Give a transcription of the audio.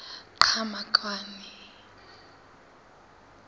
qhamakwane